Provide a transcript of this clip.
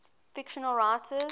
fictional writers